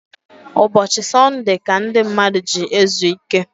Ụbọchi Sunude ka ndi mmadu ji ezu ike